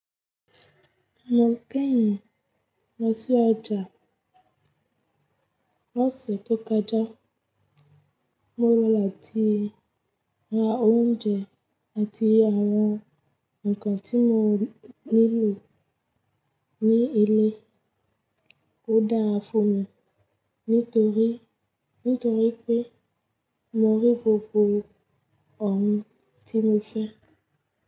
Mo kẹ́yìn lọ sí ọjà lọ́sẹ̀ tó kọjá. Mo lọ làtí ra oúnjẹ àti àwọn nkan tí mo nílò ní ilé. Ó dára fún mi nítorí pé mo rí gbogbo oun tí mo fẹ́.